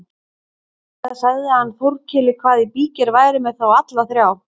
Síðan sagði hann Þórkeli hvað í bígerð væri með þá alla þrjá.